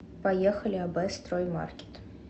поехали аб строй маркет